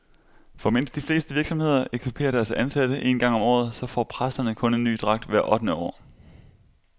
For mens de fleste virksomheder ekviperer deres ansatte en gang om året, så får præsterne kun en ny dragt hvert ottende år.